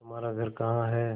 तुम्हारा घर कहाँ है